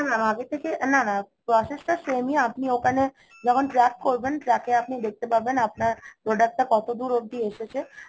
না Mam না না, process টা same ই আপনি ওখানে যখন track করবেন track এ আপনি দেখতে পারবেন আপনার product টা কতদূর অব্দি এসেছে